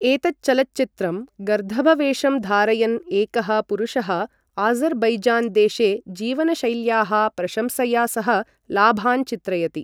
एतच्चलचित्रं गर्दभवेशं धारयन् एकः पुरुषः आज़र् बैजान् देशे जीवनशैल्याः प्रशंसया सह लाभान् चित्रयति।